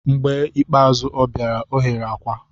Mgbe ikpeazụ ọ bịara, ọ ghere akwa.